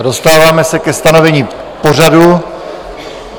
A dostáváme se ke stanovení pořadu.